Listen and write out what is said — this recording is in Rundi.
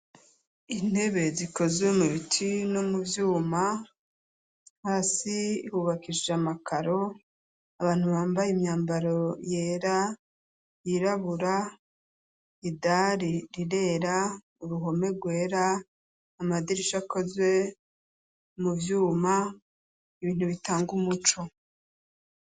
Intebe zikozwe mu biti no mu vyuma hasi hubakishshe amakaro abantu bambaye imyambaro yera yirabura idari rirera uruhome rwera amadirisha akozwe mu vyuma ibintu bitanga umuco.